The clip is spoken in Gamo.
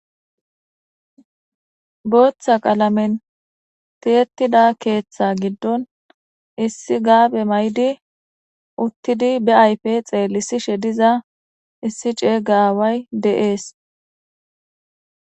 booththa qalamen tiyettida keeththa giddon issi gaabe may7di uttidi be ayfe xeelisishe diza issi ceey gaway de7ees